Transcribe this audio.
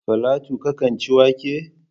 Falatu ka kan ci wake?